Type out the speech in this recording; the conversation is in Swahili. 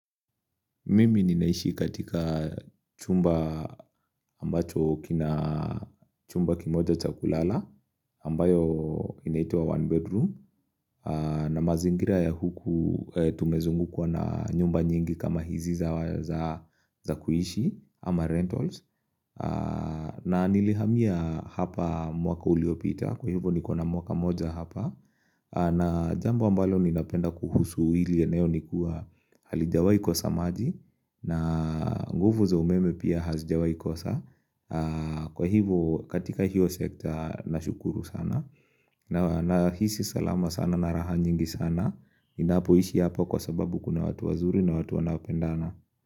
Mimi ninaishi katika chumba ambacho kina chumba kimoja cha kulala ambayo inaitwa one bedroom na mazingira ya huku tumezungukwa na nyumba nyingi kama hizi za kuishi ama rentals na nilihamia hapa mwaka uliopita kwa hivyo ni kona mwaka moja hapa na jambo ambalo ninapenda kuhusu hili eneo nikuwa halijawai kosa samaji na nguvu za umeme pia hazijawai kosa kwa hivo katika hiyo sekta nashukuru sana nahisi salama sana na raha nyingi sana ninapoishi hapa kwa sababu kuna watu wazuri na watu wanaopendana.